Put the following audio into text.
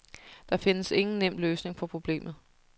Der findes ingen nem løsning på problemet.